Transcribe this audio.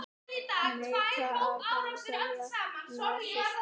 Neita að framselja nasista